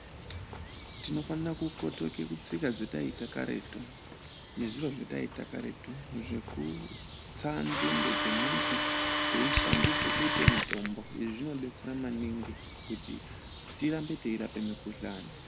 Tinofana kukotoka kutsika dzataiita karetu nezviro zvataiita karetu zvekutsa nzinde dzemiti teishandisa kuite mitombo izvi zvinodetsera maningi kuti tirambe teirapa mukuhlane.